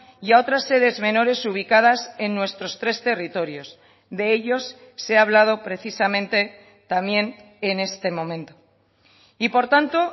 y a otras sedes menores ubicadas en nuestros tres territorios de ellos se ha hablado precisamente también en este momento y por tanto